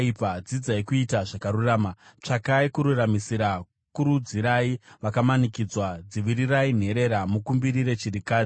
dzidzai kuita zvakarurama. Tsvakai kururamisira, kurudzirai vakamanikidzwa. Dzivirirai nherera, mukumbirire chirikadzi.